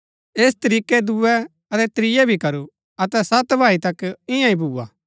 ऐस तरीकै दूये अतै त्रियै भी करू अतै सत भाई तक ईयांईं ही भूआ